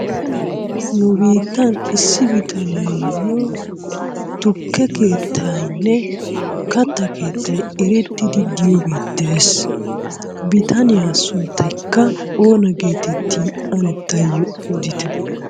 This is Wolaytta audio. Nu biittan issi bittaniyo tukke keettaynne katta keettay erettidi diyoogge de'es, bittaniyaa sunttaykka oona geetteti anne taayo oditte?